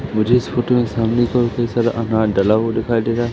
मुझे इस फोटो में सामने की ओर कई सारा अनाज डला हुआ दिखाई दे रहा--